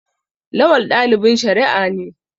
Lawal dalibin shari'a ne.